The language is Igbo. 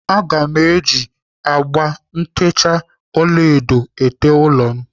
Aga m eji agba ntecha ọlaedo été ụlọ m